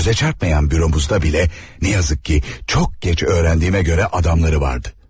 Gözə çarpmayan büromuzda belə, nə yazık ki, çox gec öyrəndiyimə görə adamları vardı.